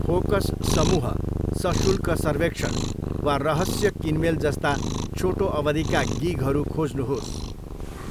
Focus समूह, सशुल्क सर्वेक्षण वा रहस्य किनमेल जस्ता छोटो अवधिका गिगहरू खोज्नुहोस्।